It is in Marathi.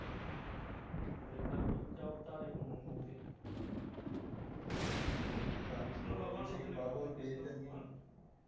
कलयुग चा अवतार आहे ते